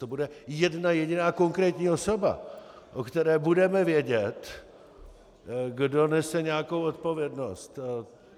To bude jedna jediná konkrétní osoba, o které budeme vědět, kdo nese nějakou odpovědnost.